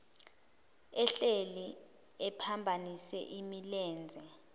ehleli ephambanise imilenze